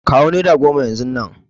Kawo nera goma yanzun nan!